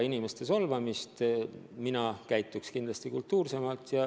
Mina käituks kindlasti kultuursemalt.